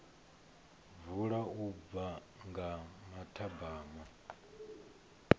vula u bva nga mathabama